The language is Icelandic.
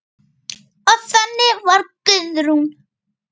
Og þannig var Guðrún.